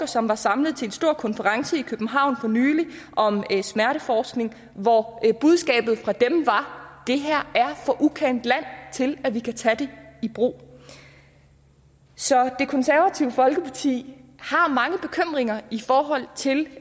som var samlet til en stor konference i københavn for nylig om smerteforskning og hvor budskabet fra dem var det her er for ukendt land til at vi kan tage det i brug så det konservative folkeparti har mange bekymringer i forhold til